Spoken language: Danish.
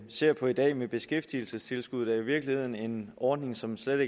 ser på i dag med beskæftigelsestilskuddet er jo i virkeligheden en ordning som stadig